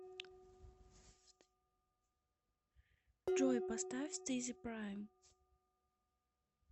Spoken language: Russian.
джой поставь стизи прайм